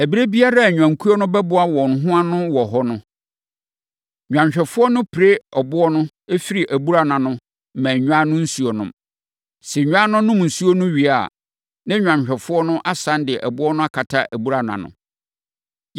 Ɛberɛ biara a nnwankuo no bɛboa wɔn ho ano wɔ hɔ no, nnwanhwɛfoɔ no pire ɛboɔ no firi abura no ano ma nnwan no nsuo nom. Sɛ nnwan no nom nsuo no wie a, na nnwanhwɛfoɔ no asane de ɛboɔ no akata abura no ano.